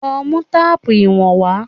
Lọ mú téèpù ìwọ̀n wá.!